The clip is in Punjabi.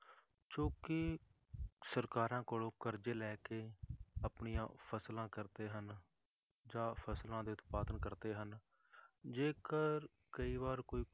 ਜੋ ਕੇ ਸਰਕਾਰਾਂ ਕੋਲੋਂ ਕਰਜ਼ੇ ਲੈ ਕੇ ਆਪਣੀਆਂ ਫਸਲਾਂ ਕਰਦੇ ਹਨ, ਜਾਂ ਫਸਲਾਂ ਦੇ ਉਤਪਾਦਨ ਕਰਦੇ ਹਨ, ਜੇਕਰ ਕਈ ਵਾਰ ਕੋਈ